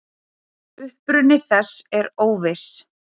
Uppruni þess er óviss.